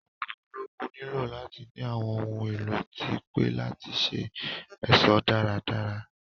Àwọn ọmọ ológun nílò láti ní àwọn ohun èlò tí pé láti ṣe ẹ̀ṣọ́ dárádárá.